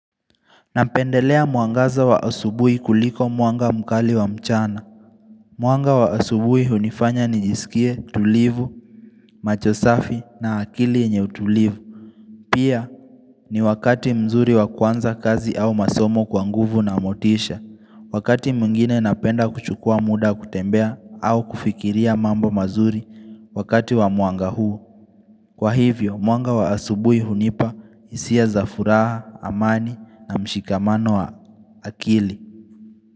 Napendelea mwangaza wa asubuhi kuliko mwanga mkali wa mchana. Mwanga wa asubuhi hunifanya nijisikie tulivu, macho safi na akili yenye utulivu. Pia ni wakati mzuri wa kuanza kazi au masomo kwa nguvu na motisha. Wakati mwingine napenda kuchukua muda kutembea au kufikiria mambo mazuri wakati wa mwanga huu. Kwa hivyo, mwanga wa asubuhi hunipa hisia za furaha, amani na mshikamano wa akili.